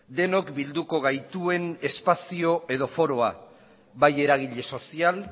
denok bilduko gaituen espazio edo foroa bai eragile sozial